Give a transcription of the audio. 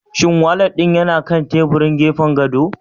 Shin walat ɗin yana kan teburin gefen gado?